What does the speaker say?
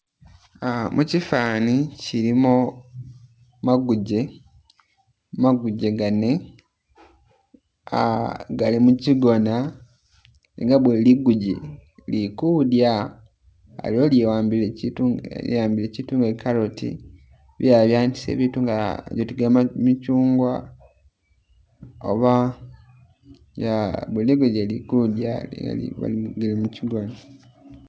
Uh mukifani mulimo maguje, maguje gane uh gali mukigona nenga buli liguje lili kudya aliwo ili wambile kiitu nga carrot bilala byawambile biitu nga michungwa aba nga buli liguje lili kudya gali mukigona